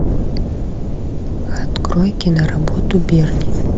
открой киноработу берни